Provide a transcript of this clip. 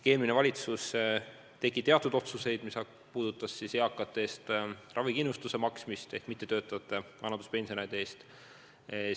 Eelmine valitsus tegi teatud otsused, mis puudutasid eakate eest, mittetöötavate vanaduspensionäride eest ravikindlustuse maksmist.